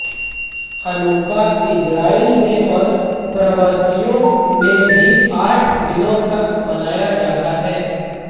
Hanukkah Israel में और प्रवासियों में भी आठ दिनों तक मनाया जाता है